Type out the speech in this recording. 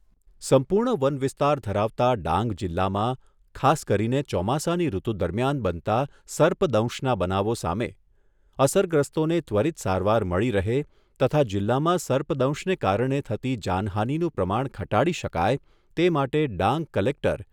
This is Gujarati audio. સંપૂર્ણ વન વિસ્તાર ધરાવતા ડાંગ જિલ્લામાં ખાસ કરીને ચોમાસાની ઋતુ દરમિયાન બનતા સર્પદંશના બનાવો સામે અસરગ્રસ્તોને ત્વરિત સારવાર મળી રહે તથા જિલ્લામાં સર્પદંશને કારણે થતી જાનહાનિનું પ્રમાણ ઘટાડી શકાય તે માટે ડાંગ કલેક્ટર